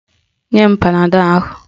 Nye m panadọl ahụ!